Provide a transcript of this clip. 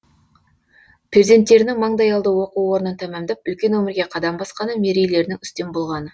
перзенттерінің маңдайалды оқу орнын тәмамдап үлкен өмірге қадам басқаны мерейлерінің үстем болғаны